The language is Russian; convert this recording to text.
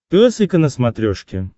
пес и ко на смотрешке